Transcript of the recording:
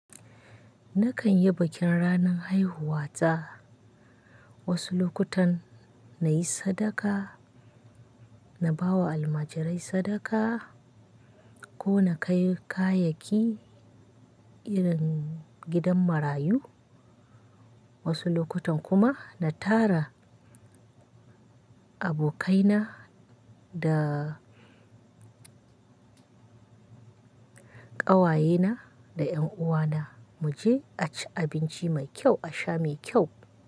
Nakan yi bikin ranan haihuwa ta. Wasu lokutan na yi sadaka, na ba wa almajirai sadaka ko na kai kayayyaki irin gidan marayu. Wasu lokutan kuma na tara abokaina da ƙawayena da ƴanuwana, mu je a ci abinci mai kyau, a sha mai kyau.